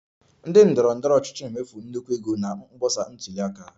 Ndị ndọrọ ndọrọ ọchịchị na-emefu nnukwu ego na mkpọsa ntuli aka